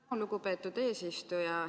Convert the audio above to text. Tänan, lugupeetud eesistuja!